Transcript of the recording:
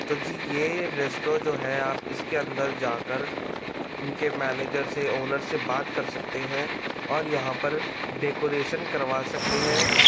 तो जी ये रेस्ट्रो जो है आप इसके अंदर जाकर इनके मैनेजर से ओनर से बात कर सकते है और यहा पर डेकोरसन करवा सकते है।